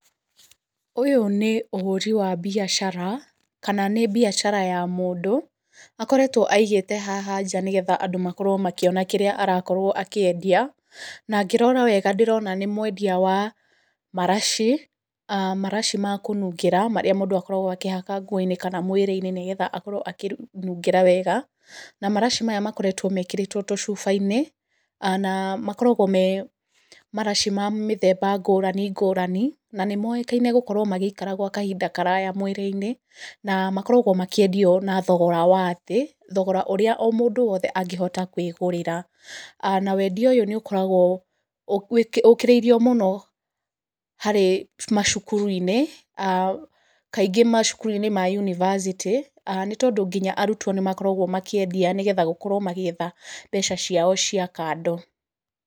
Ũyũ nĩ ũhũri wa biacara, kana nĩ biacara ya mũndũ. Akoretwo aigĩte haha nja nĩgetha andũ makorwo makĩona kĩrĩa arakorwo akĩendia, na ngĩrora wega ndĩrona nĩ mwendia wa maraci, maraci ma kũnungĩra marĩa mũndũ akoragwo akĩhaka nguo-inĩ kana mwĩrĩ-inĩ, nĩgetha akorwo akĩnungĩra wega. Na maraci maya makoretwo mekĩrĩtwo tũcuba-inĩ, na makoragwo marĩ maraci ma mĩthemba ngũrani ngũrani, na nĩ mũĩkaine gũkorwo magĩikara gwa kahinda karaya mwĩrĩ-inĩ. Na makoragwo makĩendio na thogora wa thĩ, thogora ũrĩa mũndũ wothe angĩhota kwĩgũrĩra. Na wendia ũyũ nĩũkoragwo ũkĩrĩirio mũno harĩ macukuru-inĩ, kaingĩ macukuru-inĩ ma yunibacĩtĩ, nĩ tondũ kaingĩ arutwo nĩmakoragwo makĩendia nĩguo gũkorwo magĩetha mbeca ciao cia kando.